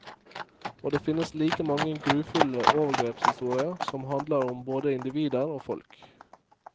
Og det finnes like mange grufulle overgrepshistorier som handler om både individer og folk.